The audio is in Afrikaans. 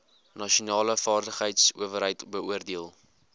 nasionale vaardigheidsowerheid beoordeel